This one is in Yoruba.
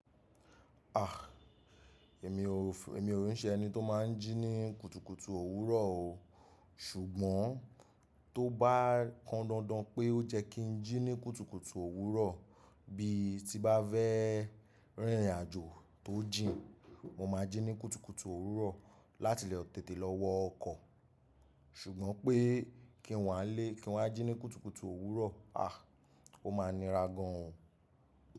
Ah! Èmi ò, èmi ò ń ṣe ẹni tó máa ń jí ní kùtùkùtù òwúrọ̀ o. Ṣùgbọ́n tó bá kan dandan pé ó jẹ́ kí ń jí ní kùtùkùtù òwúrọ̀ bí ti bá fẹ́ rìnrìnàjò tó jìn, mo máa jí ní kùtùkùtù òwúrọ̀ láti lè tètè lọ wọ ọkọ̀. Ṣùgbọ́n pé kí n wà nlé, kí n wá jí ní kùtùkùtù òwúrọ̀, ah! Ó máa nira gan.